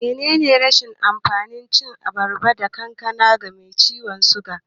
Menene rashin amfanin cin abarba ko kankana ga mai ciwan suga?